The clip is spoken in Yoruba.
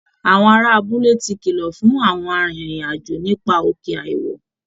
Àwọn ará abúlé ti kìlọ̀ fún àwọn arìnrìn-àjò nípa òkè àìwọ̀